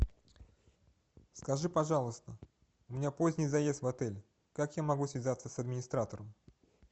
скажи пожалуйста у меня поздний заезд в отель как я могу связаться с администратором